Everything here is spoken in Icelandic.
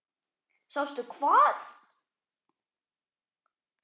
Sástu hvað?